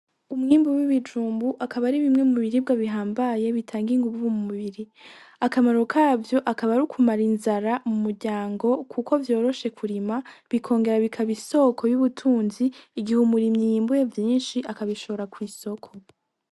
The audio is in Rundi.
Umwimbu w'ibijumbu akaba ari bimwe mu biribwa bihambaye bitanga inguvu mu mubiri, akamaro kavyo akaba ari ukumara inzara mu muryango kuko vyoroshe kurima bikongera bikaba isoko y'ubutunzi igihe umurimyi yimbuye vyinshi akabishora kw'isoko.